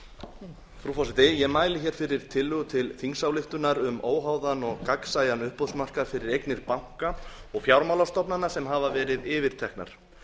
frú forseti ég mæli hér fyrir tillögu til þingsályktunar um óháðan og gagnsæjan uppboðsmarkað fyrir eignir banka og fjármálastofnana sem hafa verið yfirteknar